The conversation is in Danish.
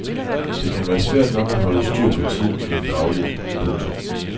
Det kan være svært nok at holde styr på tiden i det daglige. punktum